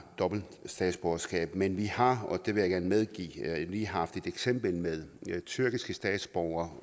dobbelt statsborgerskab men vi har og det vil jeg gerne medgive lige haft et eksempel med nogle tyrkiske statsborgere